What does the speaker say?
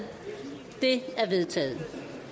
det er vedtaget